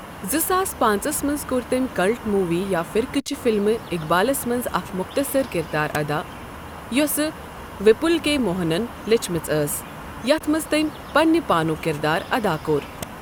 زٕ ساس پانٛژس منز کوٚر تٔمۍ کلٹ موُوی یا فِرقٕچہِ فِلمہِ اِقبالس منز اکھ موٚختصر کِردار ادا یوسہٕ وِپُل کے موہنن لیچھمٕژ ٲس یتھ منز تٔمۍ پننہِ پانُک کِردار ادا کوٚر ۔